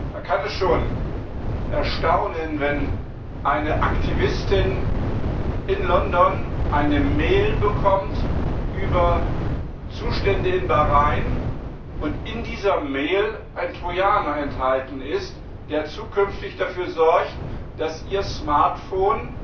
Da kann es schon erstaunen, wenn eine Aktivistin in London eine E Mail über Zustände in Bahrain bekommt und in dieser E Mail ein Trojaner enthalten ist, der zukünftig dafür sorgt, dass ihr Smartphone